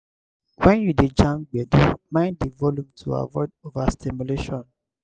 when you dey jam gbedu mind di volume to avoid overstimulation